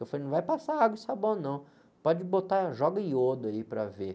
Eu falei, não vai passar água e sabão não, pode botar, joga iodo aí para ver.